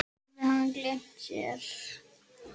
Hafði hann gleymt sér?